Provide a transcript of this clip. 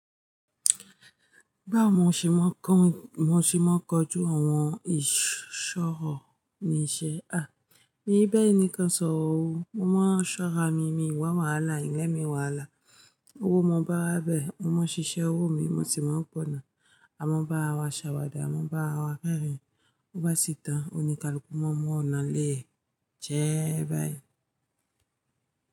Báwo mo ṣe máa ń kọ́, mo ṣì máa ń kọjú àwọn ìṣọ́rọ̀ ní iṣẹ́. Ah! Ní bẹ́ẹ̀ ni kan sọ wò ó, mo máa ń ṣọ́ra mí mí wá wàhálà, ilé mi wàhálà. Owó mo bá wá bẹ́ẹ̀, mo máa ń ṣiṣẹ́ owó mi, mo sì máa ń gbọ̀nà. A máa bá ara wa ṣàwàdà, a máa bá ara wa rẹ́rìn-ín. Ó bá sì tán, òní kaluku, mo mú ọ̀nà léẹ̀ ẹ jẹ́ẹ́, báyìí.